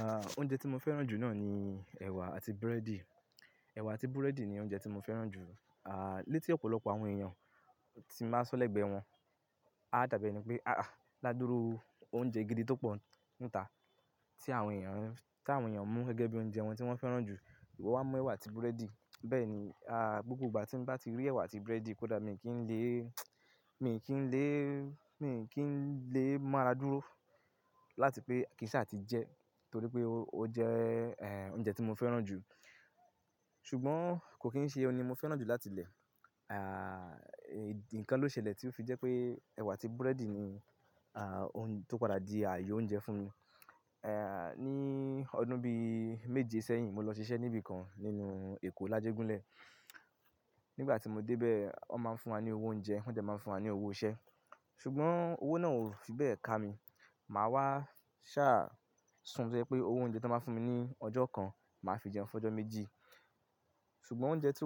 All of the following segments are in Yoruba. Ah, oúnjẹ tí mo fẹ́ràn jù náà ni ẹ̀wà àti breẹ́dì. Ẹ̀wà àti búrẹ́dì ni oúnjẹ tí mo fẹ́ràn jù. Ah, létí ọ̀pọ̀lọpọ̀ àwọn èèyàn tí màá sọ lẹ́gbẹ̀ẹ́ wọn, a tàbí ẹni pé, "Ah, ládúró oúnjẹ gidi tó pọ̀ níta tí àwọn èèyàn, tí àwọn èèyàn ń mú gẹ́gẹ́ bí oúnjẹ wọn tí wọ́n fẹ́ràn jù, ìwọ wá mu ẹ̀wà àti búrẹ́dì." Bẹ́ẹ̀ ni, ah, gbogbo ìgbà tí n bá ti rí ẹ̀wà àti búrẹ́dì, kódà mi kì í lè, mi kì í lè, mi kì í lè mu ara dúró láti pé kí n ṣà ti jẹ, torí pé ó jẹ́, eh, oúnjẹ tí mo fẹ́ràn jù. Ṣùgbọ́n kò kín ń ṣe òun ni mo fẹ́ràn jù láti ilẹ̀. Ah, ǹkan ló ṣẹlẹ̀ tí ó fi jẹ́ pé ẹ̀wà àti búrẹ́dì ni, ah, ohun tó padà di ààyò oúnjẹ fún mi. Eh, ní ọdún bí méje sẹ́yìn, mo lọ ṣiṣẹ́ níbi kan nínú Èkó, Lájégúnlẹ̀. Nígbà tí mo dé bẹ́ẹ̀, wọ́n máa ń fún wa ní owó oúnjẹ, wọ́n dẹ̀ máa ń fún wa ní owó iṣẹ́. Ṣùgbọ́n owó náà ò fi bẹ́ẹ̀ ká mi. Màá wá ṣá sùn tó jẹ́ pé owó oúnjẹ tí wọ́n máa ń fún mi ní ọjọ́ kan, màá fi jẹun fọjọ́ méjì. Ṣùgbọ́n oúnjẹ tí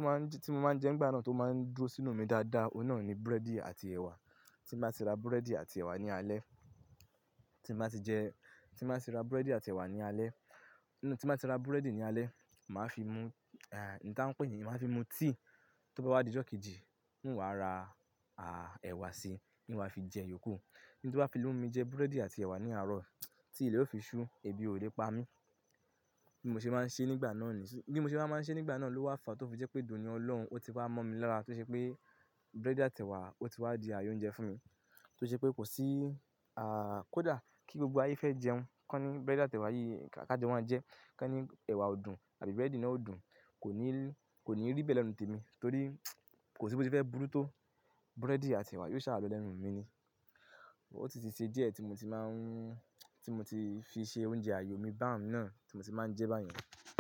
mo máa ń jẹ nígbà náà tó máa ń dúró sínú mi dáadáa, òun náà ni búrẹ́dì àti ẹ̀wà. Tí n bá ti ra búrẹ́dì àti ẹ̀wà ní alẹ́, tí n bá ti jẹ, tí màá ti ra búrẹ́dì àti ẹ̀wà ní alẹ́. Tí n bá ti ra búrẹ́dì ní alẹ́, màá fi mu, eh, un ta ń pè ní -màá fi mu tea. Tó bá wá di ọjọ́ kejì, n ó wá ra, ah, ẹ̀wà sì ń wá fi jẹ yiókù. Ohun tí ó bá fi mu mi jẹ búrẹ́dì àti ẹ̀wà ní àárọ̀, tí ilẹ̀ ó fi ṣú, ebi ò lè pa mí. Bí mo ṣe máa ń ṣe nígbà náà ni, bí mo ṣe wá máa ń ṣe nígbà náà ló wá fàá tó fi jẹ́ pé d'òní Ọlọ́run, ó ti wá mọ́ mi lọ́ra tó ṣe pé búrẹ́dì àti ẹ̀wà ó ti wá di ààyò oúnjẹ fún mi. Tó ṣe pé kò sí, ah, kó dà kí gbogbo ayé fẹ́ jẹun, kán ní búrẹ́dì àti ẹ̀wà yìí ká jọ máa jẹ. Kán ní ẹ̀wà ò dùn àbí búrẹ́dì náà ò dùn. Kò ní, kò ní rí bẹ́ẹ̀ lẹ́nu témi. Torí kò sí bó ṣe fẹ́ burú tó búrẹ́dì àti ẹ̀wà yiò ṣá lọ lẹ́nu mi ni. Ó sì ti ṣẹ́ díẹ̀ tí mo ti máa ń, tí mo ti fi ṣe oúnjẹ ààyò mi bá'un náà tí mo ti máa ń jẹ báyen.